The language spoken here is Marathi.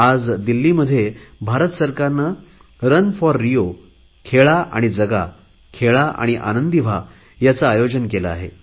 आज दिल्लीमध्ये भारत सरकारने रन फॉर रिओ खेळा आणि जगा खेळा आणि आनंदी व्हा याचे आयोजन केले आहे